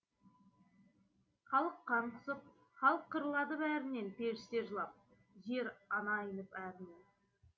халық қан құсып халық қырылады бәрінен періште жылап жер ана айнып әрінен